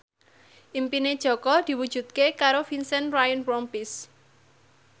impine Jaka diwujudke karo Vincent Ryan Rompies